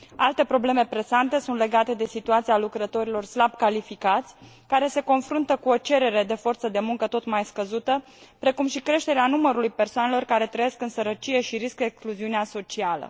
Alte probleme presante sunt legate de situația lucrătorilor slab calificați, care se confruntă cu o cerere de forță de muncă tot mai scăzută, precum și creșterea numărului persoanelor care trăiesc în sărăcie și riscă excluziunea socială.